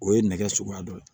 O ye nɛgɛ suguya dɔ ye